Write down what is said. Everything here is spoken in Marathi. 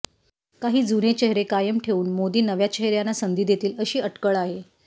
काही जुने चेहरे कायम ठेवून मोदी नव्या चेहऱयांना संधी देतील अशी अटकळ आहे